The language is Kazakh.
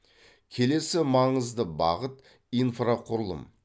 келесі маңызды бағыт инфрақұрылым